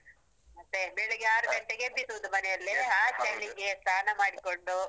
ಮತ್ತೆ? ಬೆಳಗ್ಗೆ ಆರು ಗಂಟೆಗೆ ಎಬ್ಬಿಸುದು ಮನೆಯಲ್ಲಿ ಆ ಚಳಿಗೆ ಸ್ನಾನ ಮಾಡ್ಕೊಂಡು.